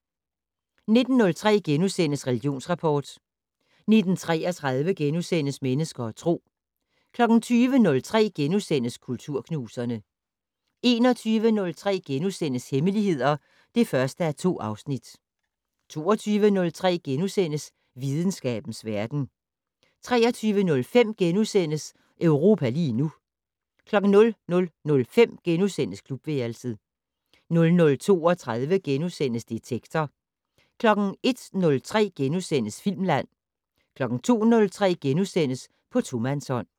19:03: Religionsrapport * 19:33: Mennesker og Tro * 20:03: Kulturknuserne * 21:03: Hemmeligheder (1:2)* 22:03: Videnskabens verden * 23:05: Europa lige nu * 00:05: Klubværelset * 00:32: Detektor * 01:03: Filmland * 02:03: På tomandshånd *